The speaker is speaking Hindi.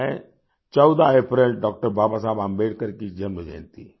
वो है 14 अप्रैल डॉक्टर बाबा साहेब अम्बेडकर जी की जन्म जयंती